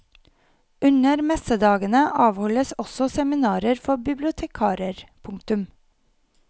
Under messedagene avholdes også seminarer for bibliotekarer. punktum